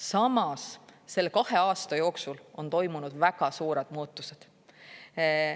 Samas, selle kahe aasta jooksul on toimunud väga suured muutused.